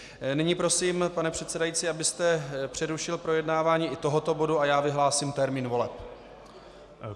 Nyní prosím, pane předsedající, abyste přerušil projednávání i tohoto bodu, a já vyhlásím termín voleb.